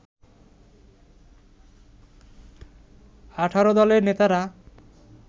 ১৮ দলের নেতারা